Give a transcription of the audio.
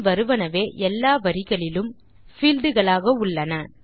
பின் வருவனவே எல்லா வரிகளிலும் பீல்ட் களாக உள்ளன